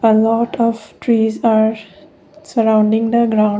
uh lot of trees are surrounding the ground.